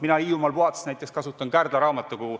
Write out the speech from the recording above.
Mina Hiiumaal puhates näiteks kasutan Kärdla raamatukogu.